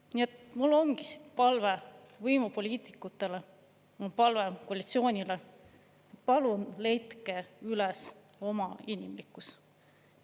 Nii et mul on palve võimupoliitikutele, palve koalitsioonile: palun leidke üles oma inimlikkus!